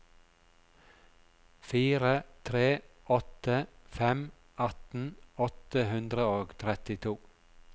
fire tre åtte fem atten åtte hundre og trettito